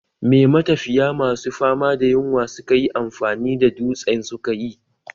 Me matafiya masu fama da yunwa suka yi amfani da dutsen sukayi?